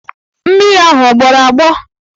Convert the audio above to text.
Mmiri ahụ agbọrọ agbọ?